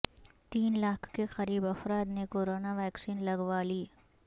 تین لاکھ کے قریب افراد نے کورونا ویکسین لگوا لی